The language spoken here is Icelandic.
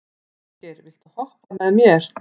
Auðgeir, viltu hoppa með mér?